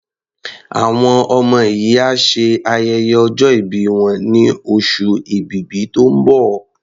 Àwọn ọmọ yìí á ṣe ayẹyẹ ọjọ́ ìbí wọn ní oṣù Èbìbí tó ń bọ̀.